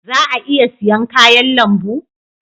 Za a iya siyan kayan lambu?